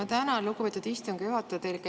Ma tänan, lugupeetud istungi juhataja!